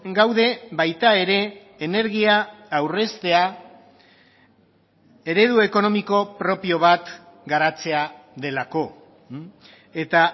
gaude baita ere energia aurreztea eredu ekonomiko propio bat garatzea delako eta